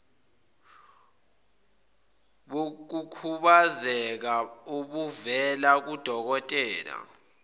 bokukhubazeka obuvela kudokotela